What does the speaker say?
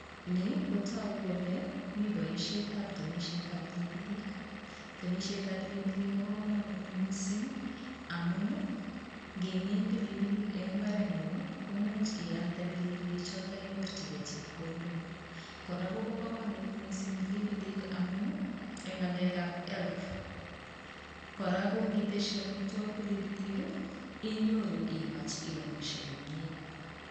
Ni kotaguu kole miten temisiet ab pilipilik temisiet ab pilipilik Kobo kamunuut amuun ii ngemiin pilipilik en mbaret nguung ii imuche inyorjigei chepkondok kora kobo kamunuut missing pilipilik amuun ii en ngalek ab [health] initesyii amitwagiik pilipilik ii inyoruu iamishe komyei.